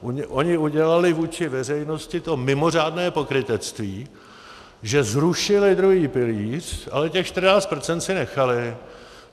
Oni udělali vůči veřejnosti to mimořádné pokrytectví, že zrušili druhý pilíř, ale těch 14 % si nechali.